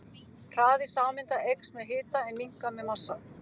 Hraði sameinda eykst með hita en minnkar með massa.